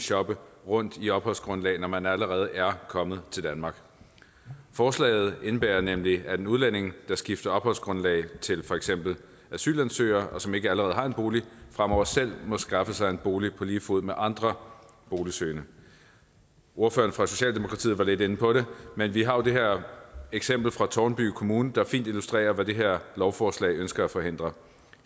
shoppe rundt i opholdsgrundlag når man allerede er kommet til danmark forslaget indebærer nemlig at en udlænding der skifter opholdsgrundlag til for eksempel asylansøger og som ikke allerede har en bolig fremover selv må skaffe sig en bolig på lige fod med andre boligsøgende ordføreren fra socialdemokratiet var lidt inde på det men vi har jo det her eksempel fra tårnby kommune der fint illustrerer hvad det her lovforslag ønsker at forhindre